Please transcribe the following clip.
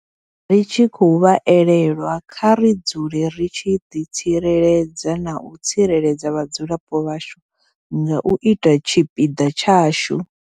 Ri tshi khou vha elelwa, kha ri dzule ri tshi ḓi tsireledza na u tsireledza vhadzulapo vhashu nga u ita tshipiḓa tshashu.